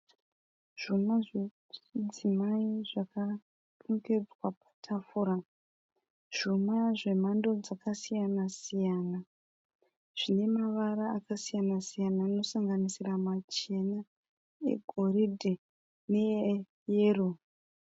Zvuma zvechidzimai zvakarongedzwa patafura. Zvuma zvemhando dzakasiyana siyana. Zvine mavara akasiyana siyana nosanganisira machena, egoridhe neeyero.